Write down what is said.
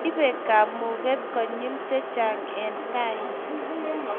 moibe kamung'et konyil chechang' eng' tai